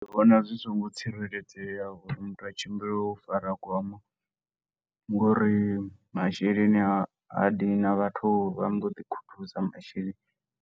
Ndi vhona zwi songo tsireledzea uri muthu a tshimbile u fara gwama, ngori masheleni a a ya dina, vhathu vha mboḓi khuthuza masheleni.